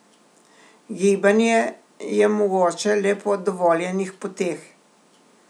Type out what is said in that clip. Gibanje je mogoče le po dovoljenih poteh.